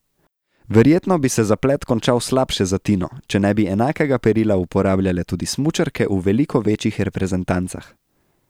Verjetno bi se zaplet končal slabše za Tino, če ne bi enakega perila uporabljale tudi smučarke v veliko večjih reprezentancah.